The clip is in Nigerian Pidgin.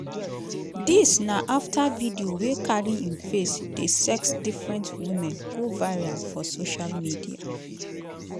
dis na afta video wey carry im face dey sex different women go viral for social media.